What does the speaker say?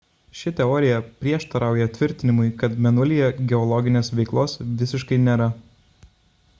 ši teorija prieštarauja tvirtinimui kad mėnulyje geologinės veiklos visiškai nėra